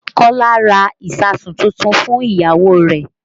Kọ́lá ra ìsáàsùn tuntun fún ìyàwó rẹ̀